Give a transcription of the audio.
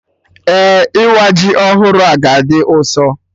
Eh, ịwa ji ọhụrụ a ga-dị ụsọ